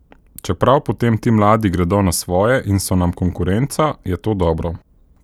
Čeprav potem ti mladi gredo na svoje in so nam konkurenca, je to dobro.